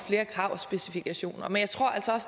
specifikationer men